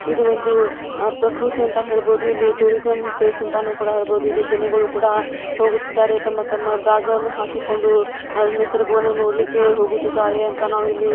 ಇದು ಒಂದು ಆಹ್ ಪ್ರಕೃತಿ ಅಂತ ಹೇಳ್ಬೋದು. ಇಲ್ಲಿ ಟೂರಿಸ್ಮ್ ಪ್ಲೇಸ್ ಅಂತಾನೂ ಕೂಡ ಹೇಳ್ಬೋದು. ಇಲ್ಲಿ ಜನಗಳು ಕೂಡ ಹೋಗುತ್ತಿದಾರೆ. ತಮ್ಮ ತಮ್ಮ ಬ್ಯಾಗ್ ಗಳನ್ನು ಹಾಕಿಕೊಂಡು ಹ ನಿಸರ್ಗವನ್ನು ನೋಡ್ಲಿಕ್ಕೆ ಹೋಗುತ್ತಿದಾರೆ ಅಂತ ನಾವು ಇಲ್ಲಿ--